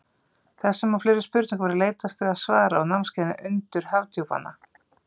Þessum og fleiri spurningum verður leitast við að svara á námskeiðinu Undur Hafdjúpanna.